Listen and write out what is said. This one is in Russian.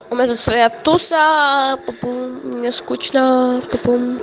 у меня тут своя твоя туса пупум мне скучно пупум